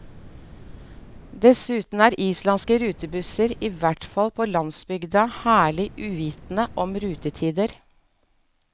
Dessuten er islandske rutebusser, i hvert fall på landsbygda, herlig uvitende om rutetider.